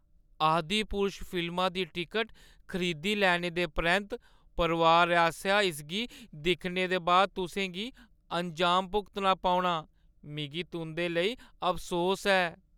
आदिपुरुष फिल्मा दी टिकट खरीदी लैने दे परैंत्त, परोआर आसेआ इसगी दिक्खने दे बाद तुसें गी अंजाम भुगतना पौना। मिगी तुंʼदे लेई अफसोस ऐ।